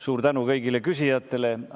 Suur tänu kõigile küsijatele!